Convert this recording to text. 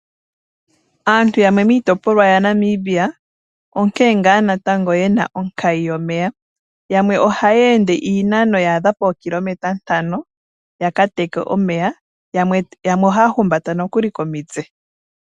Aantu yamwe miitopolwa yaNamibia onkene ngaa natango yena onkayi yomeya. Yamwe ohaya ende iinano yaadha pookilometa ntano yaka teke omeya, yamwe ohaya humbata nokuli komitse.